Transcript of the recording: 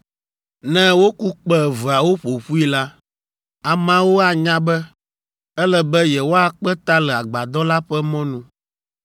Ne woku kpẽ eveawo ƒo ƒui la, ameawo anya be, ele be yewoakpe ta le agbadɔ la ƒe mɔnu.